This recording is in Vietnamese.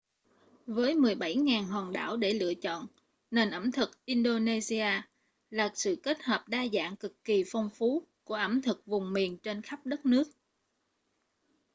với 17.000 hòn đảo để lựa chọn nền ẩm thực indonesia là sự kết hợp đa dạng cực kỳ phong phú của ẩm thực vùng miền trên khắp đất nước